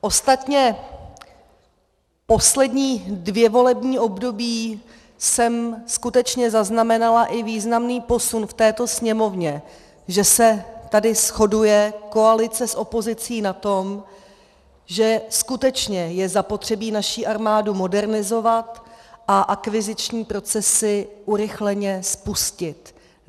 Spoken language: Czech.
Ostatně poslední dvě volební období jsem skutečně zaznamenala i významný posun v této Sněmovně, že se tady shoduje koalice s opozicí na tom, že skutečně je zapotřebí naši armádu modernizovat a akviziční procesy urychleně spustit.